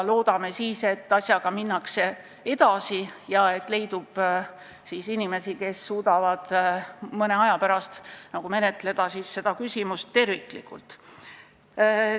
Loodame, et asjaga minnakse edasi ja leidub inimesi, kes suudavad mõne aja pärast seda küsimust terviklikult menetleda.